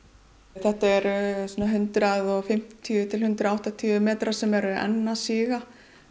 þetta eru svona hundrað og fimmtíu til hundrað og áttatíu metrar sem eru enn að síga